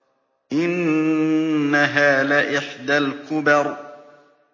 إِنَّهَا لَإِحْدَى الْكُبَرِ